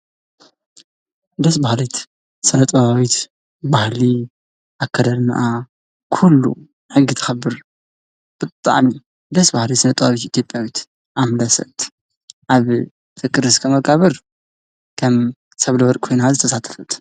ደስ በሃሊት ስነ ጥበባዊት ባህሊ ኣከዳድናኣ ኩሉ ሕጊ ተክብር። ብጣዕሚ ደስ በሃሊት ስነ ጥበባዊት ኢትዮጲያዊት ኣምለሰት ኣብ ፍቅር እስከ መቃብር ከም ሰብለ ወርቅ ኮይና ዝተሳተፈት።